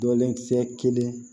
Dɔlenkisɛ kelen